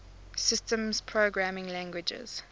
systems programming languages